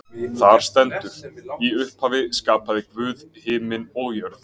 Þar stendur: Í upphafi skapaði Guð himin og jörð.